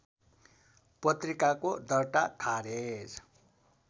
पत्रिकाको दर्ता खारेज